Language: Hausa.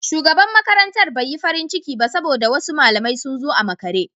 Shugaban makarantar bai yi farin ciki ba saboda wasu malamai sun zo a makare.